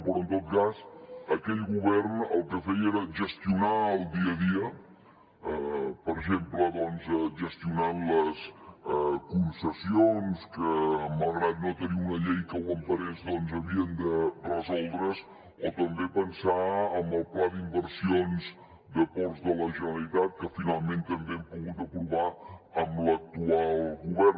però en tot cas aquell govern el que feia era gestionar el dia a dia per exemple doncs gestionant les concessions que malgrat no tenir una llei que ho emparés havien de resoldre’s o també pensar en el pla d’inversions de ports de la generalitat que finalment també hem pogut aprovar amb l’actual govern